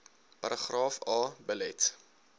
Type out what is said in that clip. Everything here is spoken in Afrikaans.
paragraaf a belet